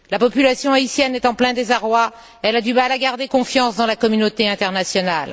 La population haïtienne est en plein désarroi. Elle a du mal à garder confiance dans la communauté internationale.